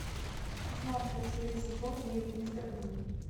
шестнадцатая серия сезон девять мистер бин